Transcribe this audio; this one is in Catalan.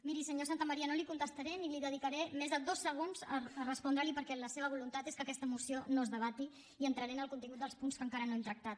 miri senyor santamaría no li contestaré ni dedicaré més de dos segons a respondre li perquè la seva voluntat és que aquesta moció no es debati i entraré en el contingut dels punts que encara no hem tractat